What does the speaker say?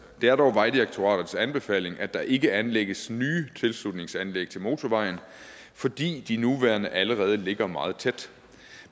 er dog vejdirektoratets anbefaling at der ikke anlægges nye tilslutningsanlæg til motorvejen fordi de nuværende allerede ligger meget tæt